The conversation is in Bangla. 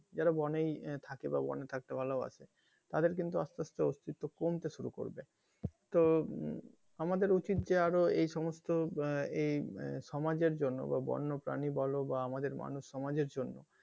যারা বনেই থাকে বা বনে থাকতে ভালোবাসে তাদের কিন্তু আসতে আসতে অস্তিত্ব কমতে শুরু করবে তো আমাদের উচিৎ যে আরও এই সমস্ত আহ এই সমাজের জন্য বা বন্য প্রানী বলো বা আমাদের প্রানী সমাজের জন্য,